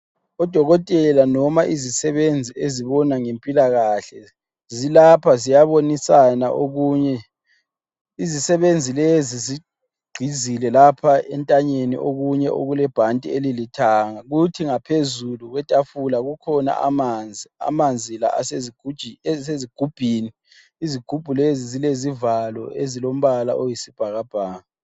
Odokotela noma izisebenzi ezibona ngempilakahle, zilapha ziyabonisana okunye. Izisebenzi lezi zigqizile lapha entanyeni okunye okulebhanti elilithanga. Kuthi ngaphezulu kwetafula kukhona amanzi. Amanzi la asezigubhini, izigubhu lezi zilezivalo ezilombala oyisibhakabhaka.